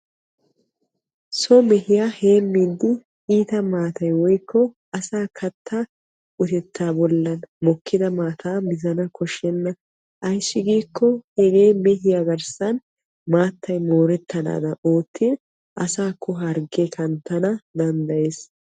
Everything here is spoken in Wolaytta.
So mehiya heemiyoode katta bolla mokkidda maatta mizzana koshenna ayssi giikko hargge asaakko kanttanna danddayees.